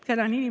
Aitäh!